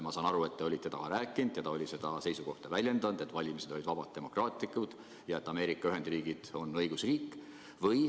Ma saan aru, et te olete temaga rääkinud ja ta on väljendanud seisukohta, et valimised olid vabad ja demokraatlikud ja et Ameerika Ühendriigid on õigusriik.